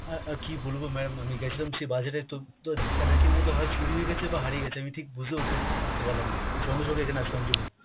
অ্যাঁ অ্যাঁ কী বলব maam আমি গেছিলাম সেই বাজারে তো তো ধাক্কা-ধাক্কির মধ্যে হয় চুরি হয়েগেছে বা হারিয়ে গেছে, আমি ঠিক বুঝে উঠে উঠতে পারলাম না, সঙ্গে সঙ্গে এখানে আসলাম এর জন্য।